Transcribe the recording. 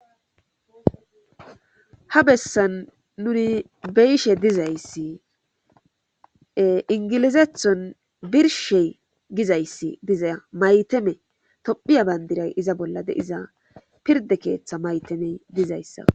Ha bessan nuni be7ishe dizayssi ee inggilizethon birshey birshey gizayssi diza toph maytame tophiya benddiray iza bolla diza pirdde keetha maytamey dizeyssa